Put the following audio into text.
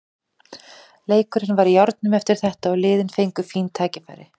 Leikurinn var í járnum eftir þetta og liðin fengu fín færi.